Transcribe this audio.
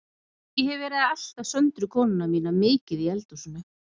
Ég hef verið að elta Söndru konuna mína mikið í eldhúsinu.